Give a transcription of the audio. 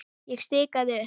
Ég stikaði upp